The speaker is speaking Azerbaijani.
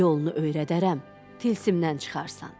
Yolunu öyrədərəm, tilsimdən çıxarsan.